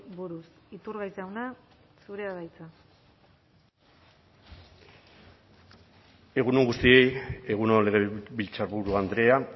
buruz iturgaiz jauna zurea da hitza egun on guztioi egun on legebiltzarburu andrea